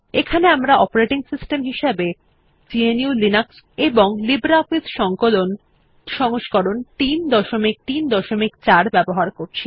এখানে আমরা operating system হিসাবে গ্নু লিনাক্স এবং লিব্রিঅফিস সংকলন সংস্করণ 334 ব্যবহার করব